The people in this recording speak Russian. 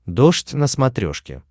дождь на смотрешке